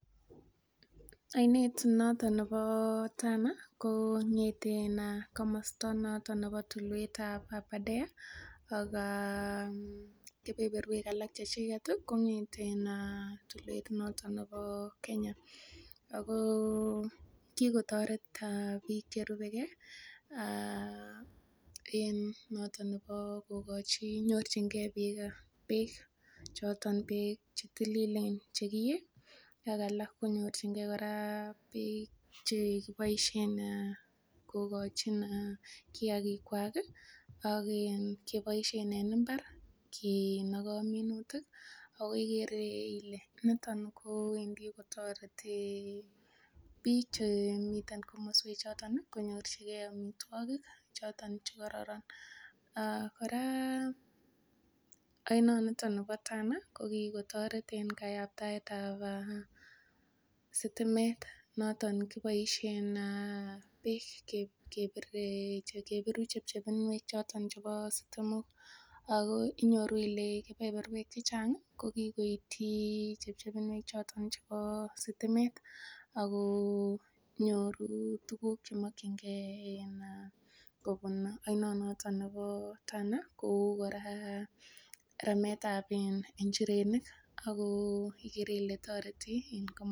Oinet notok nepo Tana kong'eten komosta notok nepo tulwet ab Arbadare ak kepeperwek alak chechinde komiten tulwet notok nepo Kenya ako kigotoret piik chechang' cherupegei notok kogochin konyorchin gei piik peek choton peek chetililen chekie ak alak konyorchigei peek che kochin kiagik kwach ak kepoishen eng' imbar kiinogo minutik akigere kole nitok kowendi kotoreti piich chemii komoswek choton konyorchigei amitwogik choton chekaroron ak koraa oinot nitok nepo Tana ko kigotoret eng' kayaptoet ab sitimet noton kipoishe en peek kepir kepiru chepchinuek chotok chepo sitimok akoy inyoru kole kepeperwek chechang' ko kigoitchin chepchepnwoik choton chepo sitimet akonyoru tugun chemakchin gei kopun oinon notok nepo Tana kou koraa ramet ab en injirenik ak ko igere ile toreti.